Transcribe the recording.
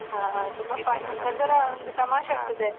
ಒಂಥರ ಒಂದು ತಮಾಷೆ ಇರ್ತದೆ.